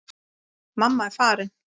Mamma er farin.